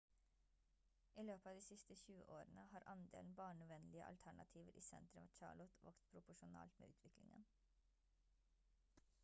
i løpet av de siste 20 årene har andelen barnevennlige alternativer i sentrum av charlotte vokst proporsjonalt med utviklingen